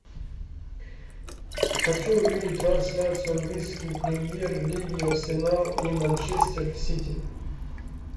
хочу увидеть трансляцию английской премьер лиги арсенал и манчестер сити